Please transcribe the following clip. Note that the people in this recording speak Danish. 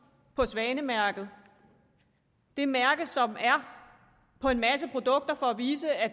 på svanemærket det mærke som er på en masse produkter for at vise at